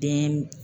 Den